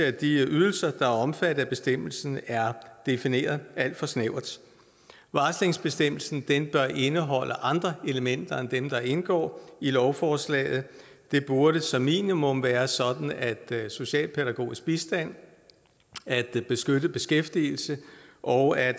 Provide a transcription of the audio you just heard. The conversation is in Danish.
at de ydelser der er omfattet af bestemmelsen er defineret alt for snævert varslingsbestemmelsen bør indeholde andre elementer end dem der indgår i lovforslaget det burde som minimum være sådan at socialpædagogisk bistand beskyttet beskæftigelse og